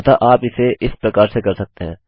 अतः आप इसे इस प्रकार से कर सकते हैं